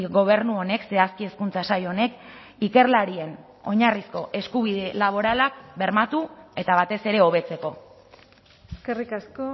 gobernu honek zehazki hezkuntza sail honek ikerlarien oinarrizko eskubide laboralak bermatu eta batez ere hobetzeko eskerrik asko